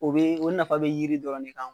O bee o nafa bɛ yiri dɔrɔn de kan